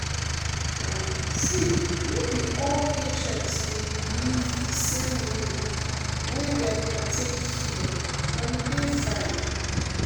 em see no be all patients dey believe the same way wey dem dey take heal and e dey fine.